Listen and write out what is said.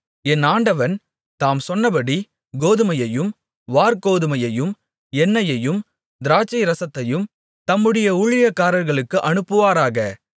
என் ஆண்டவன் தாம் சொன்னபடி கோதுமையையும் வாற்கோதுமையையும் எண்ணெயையும் திராட்சைரசத்தையும் தம்முடைய ஊழியக்காரர்களுக்கு அனுப்புவாராக